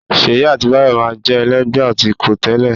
Ṣèyí àti Báyọ̀ máa ń jẹ́ ẹlẹ́gbẹ̀ẹ́ atukọ̀ tẹ́lẹ̀